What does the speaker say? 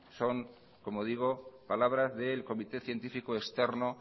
son como digo palabras del comité científico externo